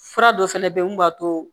Fura dɔ fɛnɛ be yen mun b'a to